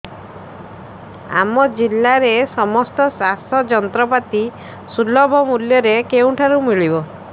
ଆମ ଜିଲ୍ଲାରେ ସମସ୍ତ ଚାଷ ଯନ୍ତ୍ରପାତି ସୁଲଭ ମୁଲ୍ଯରେ କେଉଁଠାରୁ ମିଳିବ